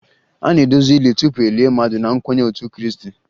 A na-agọzị ili tupu e lie mmadụ na nkwenye ndị otu Krịịstị